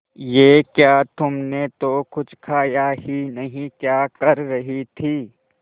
ये क्या तुमने तो कुछ खाया ही नहीं क्या कर रही थी